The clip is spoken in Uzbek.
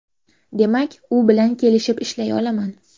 Demak, u bilan kelishib ishlay olaman.